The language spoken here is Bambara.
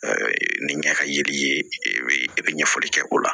nin ɲɛ ka yiri ye e bɛ e bɛ ɲɛfɔli kɛ o la